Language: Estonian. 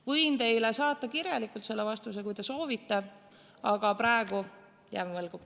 Võin teile saata vastuse kirjalikult, kui te soovite, aga praegu jään võlgu.